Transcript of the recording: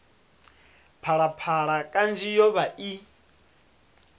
phalaphala kanzhi yo vha i